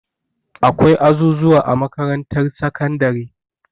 Akwai azuzuwa a makarantar sakandare.